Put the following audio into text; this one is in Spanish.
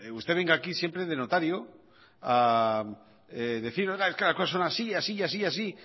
usted venga aquí siempre de notario a decir es que las cosas son así y así y así